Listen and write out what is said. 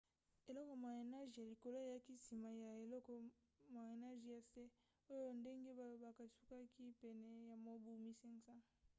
eleko moyen âge ya likolo eyaki nsima ya eleko moyen âge ya se oyo ndenge balobaka esukaki pene ya mobu 1500